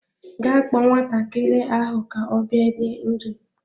Gaa kpọọ nwatakịrị ahụ ka ọ bịa rie nri!